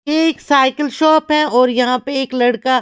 ये एक cycle shop है और यहाँ पे एक लड़का --